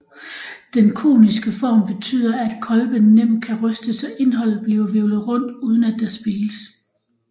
Den koniske form betyder at kolben nemt kan rystes så indholdet bliver hvirvlet rundt uden at der spildes